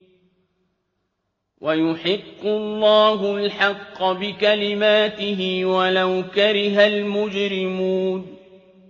وَيُحِقُّ اللَّهُ الْحَقَّ بِكَلِمَاتِهِ وَلَوْ كَرِهَ الْمُجْرِمُونَ